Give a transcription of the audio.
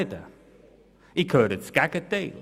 ich höre das Gegenteil.